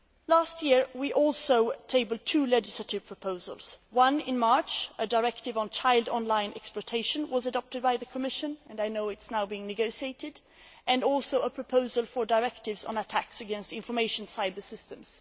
Last year, we also tabled two legislative proposals one in March, a directive on child online exploitation, was adopted by the Commission and I know it is now being negotiated, and also a proposal for directives on attacks against information cybersystems.